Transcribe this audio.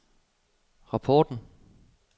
rapporten